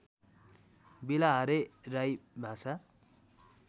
बेलाहारे राई भाषा